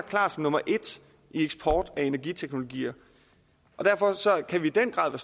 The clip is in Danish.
klart nummer et i eksport af energiteknologier derfor kan vi i den grad